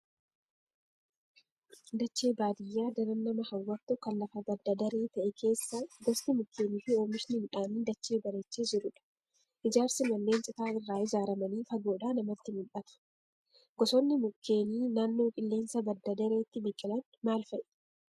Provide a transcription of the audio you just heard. Dachee baadiyaa daran nama hawwattu kan lafa badda daree ta'e keessa gosti mukeenii fi oomishni midhaanii dachee bareechee jirudha. Ijaarsi manneen citaa irraa ijaaramanii fagoodhaa namatti mul'ata. Gosoonni mukeenii naannoo qilleensa badda dareetti biqilan maal fa'i?